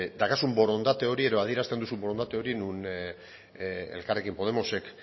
daukazun borondate hori edo adierazten duzun borondate hori non elkarrekin podemosek